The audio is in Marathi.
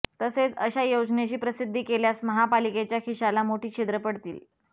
तसेच अशा योजनेची प्रसिद्धी केल्यास महापालिकेच्या खिशाला मोठी छिद्र पडतील